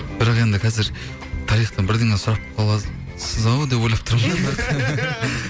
бірақ енді қазір тарихтан бірдеңе сұрап қаласыз ау деп ойлап тұрмын